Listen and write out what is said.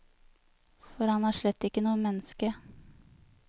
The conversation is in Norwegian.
For han er slett ikke noe menneske.